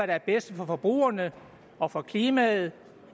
der er bedst for forbrugerne og for klimaet